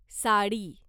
sari